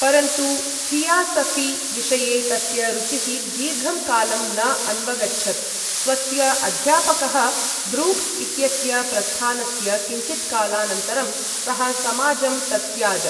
परन्तु, थियासऴि विषये तस्य रुचिः दीर्घं कालम् न अन्वगच्छत्, स्वस्य अध्यापकः ब्रूक्स् इत्यस्य प्रस्थानस्य किञ्चित्कालानन्तरं सः समाजं तत्याज।